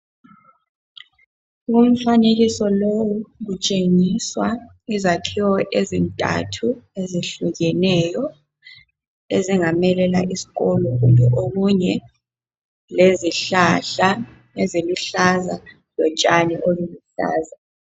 Umfanekiso lowo kutshengiswa izakhiwo ezintathu ezehlukeneyo ezingamelela isikolo kumbe okunye lezihlahla eziluhlaza lotshani oluluhlaza